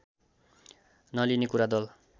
नलिने कुरा दल